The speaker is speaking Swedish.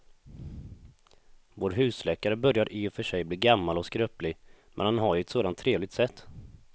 Vår husläkare börjar i och för sig bli gammal och skröplig, men han har ju ett sådant trevligt sätt!